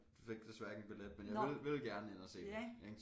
Fik desværre ikke en billet men jeg ville ville gerne ind og se dem ik